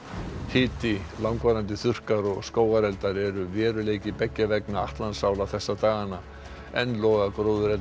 hiti langvarandi þurrkar og skógareldar eru veruleiki beggja vegna Atlantsála þessa dagana enn loga